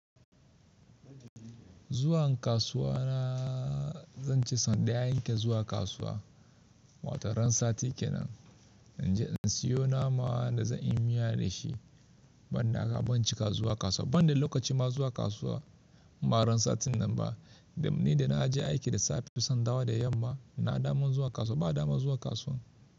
Zuwa kasuwa na zan ci sau ɗaya in ke zuwa kasuwa. Wato ran sati kenan in je in siyo nama da zan yi miya da shi. Ban da haka ban cika zuwa kasuwa ba ban da lokacin ma zuwa kasuwa. Ba ran satin nan ba, ni da na je aiki da safe sai in dawo da yamma. Na damu zuwa kasuwa, ba a damu zuwa kasuwa.